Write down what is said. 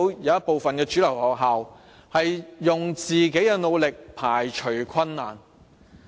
有部分主流學校憑自己的努力，排除困難。